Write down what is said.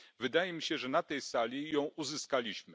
Wydaje mi się, że na tej sali ją uzyskaliśmy.